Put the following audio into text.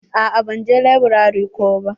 A'a ban je laburare ko ba.